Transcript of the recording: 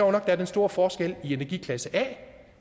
er den store forskel i energiklasse a